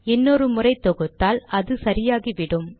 இன்னொரு முறை தொகுத்தால் அது சரியாகிவிடும்